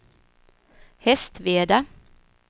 Hästveda